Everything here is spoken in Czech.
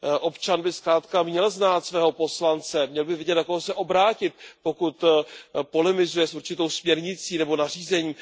Občan by zkrátka měl znát svého poslance, měl by vědět, na koho se obrátit, pokud polemizuje s určitou směrnicí nebo nařízením.